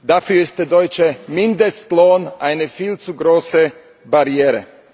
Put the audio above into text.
Dafür ist der deutsche Mindestlohn eine viel zu große Barriere.